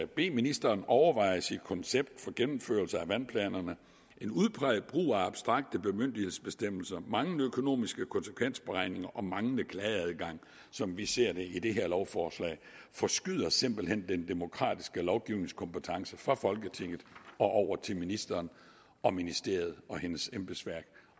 bede ministeren overveje sit koncept for gennemførelse af vandplanerne en udpræget brug af abstrakte bemyndigelsesbestemmelser manglende økonomiske konsekvensberegninger og manglende klageadgang som vi ser det i det her lovforslag forskyder simpelt hen den demokratiske lovgivningskompetence fra folketinget og over til ministeren og ministeriet og hendes embedsværk